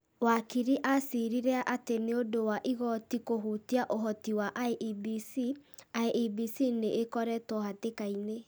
Wakiri acirire atĩ nĩ ũndũ wa igoti kũhutia ũhoti wa IEBC, IEBC nĩ ĩkoretwo hatĩkainĩ ,